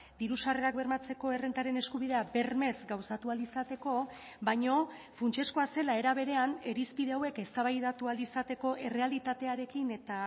diru sarrerak bermatzeko errentaren eskubidea bermez gauzatu ahal izateko baino funtsezkoa zela era berean irizpide hauek eztabaidatu ahal izateko errealitatearekin eta